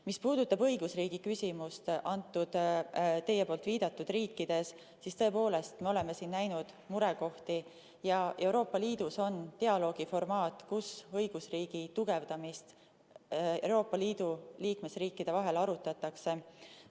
Mis puudutab õigusriigi küsimust teie viidatud riikides, siis tõepoolest, me oleme siin näinud murekohti ja Euroopa Liidus on dialoogi formaat, kus õigusriigi tugevdamist Euroopa Liidu liikmesriikide vahel arutatakse.